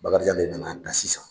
Bakarijan de nana plasi sisan.